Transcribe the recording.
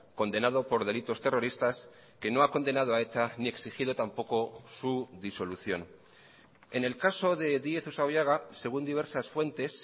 condenado por delitos terroristas que no ha condenado a eta ni exigido tampoco su disolución en el caso de díez usabiaga según diversas fuentes